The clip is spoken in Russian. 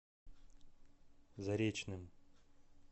заречным